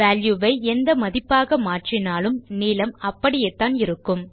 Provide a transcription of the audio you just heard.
value வை எந்த மதிப்பாக மாற்றினாலும் நீளம் அப்படியேத்தான் இருக்கும்